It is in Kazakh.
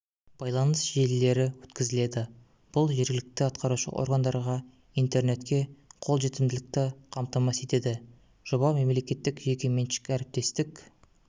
байланыс желілері өткізіледі бұл жергілікті атқарушы органдарға интернетке қолжетімділікті қамтамасыз етеді жоба мемлекеттік-жеке меншік әріптестік